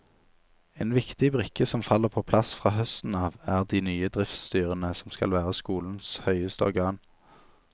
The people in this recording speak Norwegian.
En viktig brikke som faller på plass fra høsten av, er de nye driftsstyrene som skal være skolens høyeste organ.